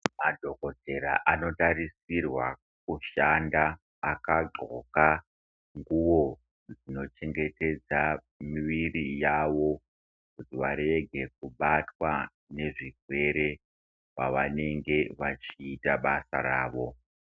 Madhokodhera anotarisirwa kushanda akadxoka nguwo dzinochengetedza miviri yavo kuti varege kubatwa nezvirwere pavanenge vachiita basa ravo.